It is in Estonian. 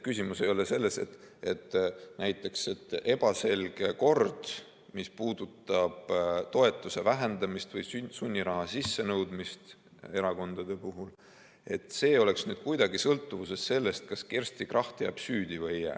Küsimus ei ole selles, et näiteks ebaselge kord, mis puudutab toetuse vähendamist või sunniraha sissenõudmist erakondade puhul, oleks kuidagi sõltuvuses sellest, kas Kersti Kracht jääb süüdi või ei jää.